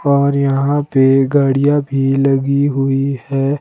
और यहां पे गाड़ियां भी लगी हुई है।